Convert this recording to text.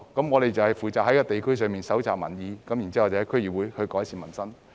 我們負責在地區蒐集民意，然後透過區議會改善民生。